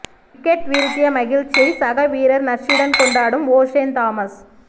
wicket வீழ்த்திய மகிழ்ச்சியை சக வீரர் நர்ஸுடன் கொண்டாடும் ஒஷேன் தாமஸ்